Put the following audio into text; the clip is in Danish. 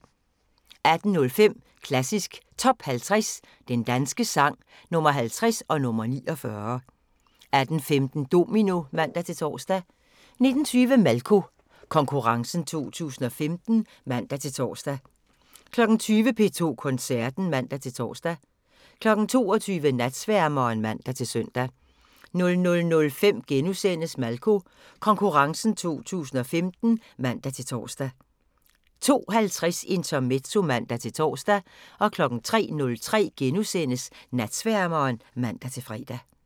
18:05: Klassisk Top 50 Den danske sang – Nr. 50 og nr. 49 18:15: Domino (man-tor) 19:20: Malko Konkurrencen 2015 (man-tor) 20:00: P2 Koncerten (man-tor) 22:00: Natsværmeren (man-søn) 00:05: Malko Konkurrencen 2015 *(man-tor) 02:50: Intermezzo (man-tor) 03:03: Natsværmeren *(man-fre)